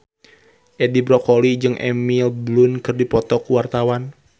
Edi Brokoli jeung Emily Blunt keur dipoto ku wartawan